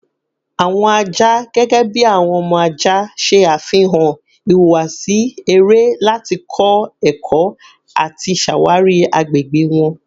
Awọn aja, gẹgẹbi awọn ọmọ aja, ṣe afihan ihuwasi ere lati kọ ẹkọ ati ṣawari agbegbe wọn